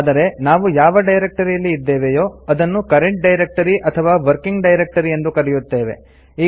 ಆದರೆ ನಾವು ಯಾವ ಡೈರೆಕ್ಟರಿಯಲ್ಲಿ ಇದ್ದೇವೆಯೋ ಅದನ್ನು ಕರೆಂಟ್ ಡೈರೆಕ್ಟರಿ ಅಥವಾ ವರ್ಕಿಂಗ್ ಡೈರೆಕ್ಟರಿ ಎಂದು ಕರಯುತ್ತೇವೆ